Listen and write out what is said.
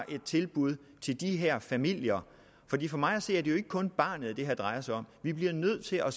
et tilbud til de her familier for mig at se er det jo ikke kun barnet det her drejer sig om vi bliver nødt til at